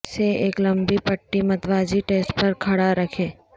سے ایک لمبی پٹی متوازی ٹیسٹ پر کھڑا رکھیں